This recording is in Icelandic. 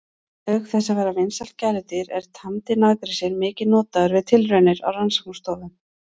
Auk þess að vera vinsælt gæludýr er tamdi naggrísinn mikið notaður við tilraunir á rannsóknastofum.